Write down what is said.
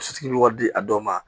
Sotigi bɛ wari di a dɔw ma